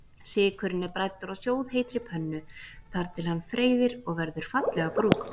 Sykurinn er bræddur á sjóðheitri pönnu þar til hann freyðir og verður fallega brúnn.